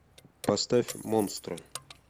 поставь монстры